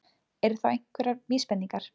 Eru þá einhverjar vísbendingar?